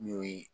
N'o ye